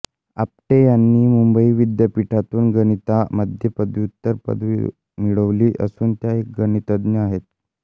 आपटे यांनी मुंबई विद्यापीठातून गणितामध्ये पदव्युत्तर पदवी मिळवली असून त्या एक गणितज्ञ आहेत